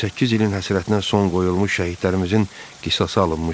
28 ilin həsrətinə son qoyulmuş şəhidlərimizin qisası alınmışdı.